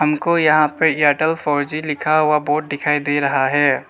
हमको यहां पे एयरटेल फोर जी लिखा हुआ बोर्ड दिखाई दे रहा है।